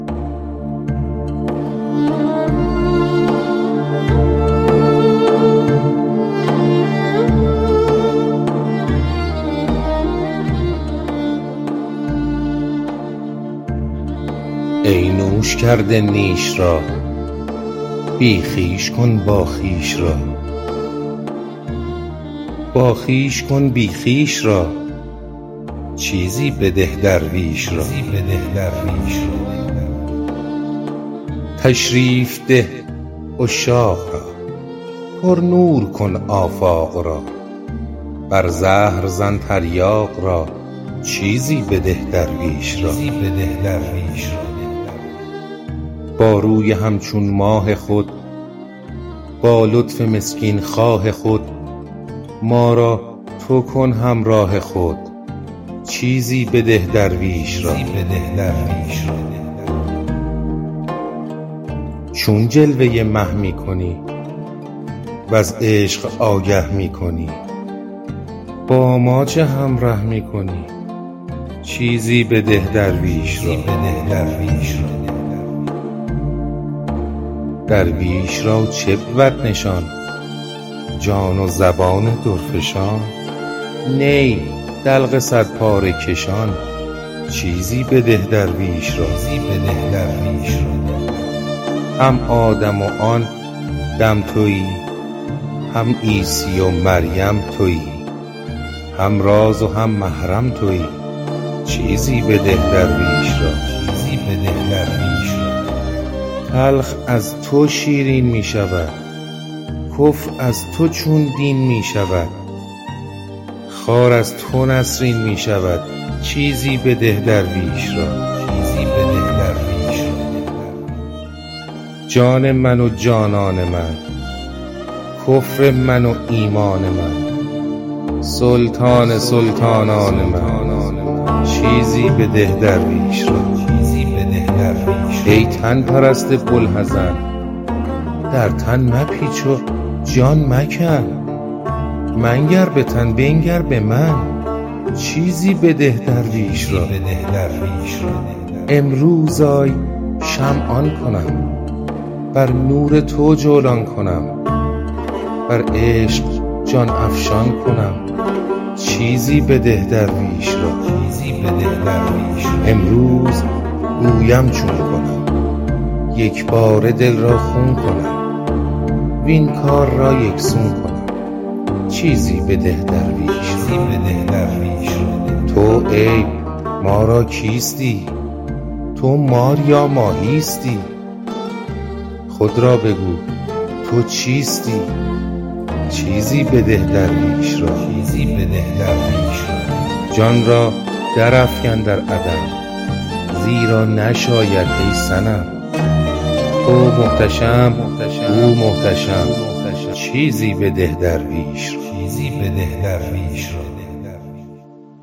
ای نوش کرده نیش را بی خویش کن باخویش را باخویش کن بی خویش را چیزی بده درویش را تشریف ده عشاق را پرنور کن آفاق را بر زهر زن تریاق را چیزی بده درویش را با روی همچون ماه خود با لطف مسکین خواه خود ما را تو کن همراه خود چیزی بده درویش را چون جلوه مه می کنی وز عشق آگه می کنی با ما چه همره می کنی چیزی بده درویش را درویش را چه بود نشان جان و زبان درفشان نی دلق صدپاره کشان چیزی بده درویش را هم آدم و آن دم توی هم عیسی و مریم توی هم راز و هم محرم توی چیزی بده درویش را تلخ از تو شیرین می شود کفر از تو چون دین می شود خار از تو نسرین می شود چیزی بده درویش را جان من و جانان من کفر من و ایمان من سلطان سلطانان من چیزی بده درویش را ای تن پرست بوالحزن در تن مپیچ و جان مکن منگر به تن بنگر به من چیزی بده درویش را امروز ای شمع آن کنم بر نور تو جولان کنم بر عشق جان افشان کنم چیزی بده درویش را امروز گویم چون کنم یک باره دل را خون کنم وین کار را یک سون کنم چیزی بده درویش را تو عیب ما را کیستی تو مار یا ماهیستی خود را بگو تو چیستی چیزی بده درویش را جان را درافکن در عدم زیرا نشاید ای صنم تو محتشم او محتشم چیزی بده درویش را